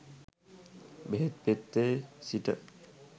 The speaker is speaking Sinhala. බෙහෙත් පෙත්තේ සිට